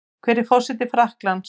Hver er forseti Frakklands?